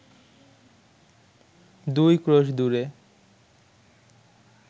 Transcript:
দুই ক্রোশ দূরে